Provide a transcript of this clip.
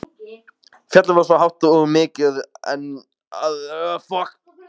Fjallið var svo hátt og mikið að það nefndist Eilífur.